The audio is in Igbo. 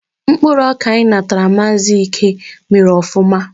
Mkpụrụ ọka anyị natara Maazi Íke mèrè ofụma